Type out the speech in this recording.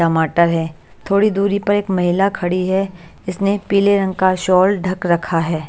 टमाटर है थोड़ी दूरी पर एक महिला खड़ी है इसने पीले रंग का स्वल ढक रखा है।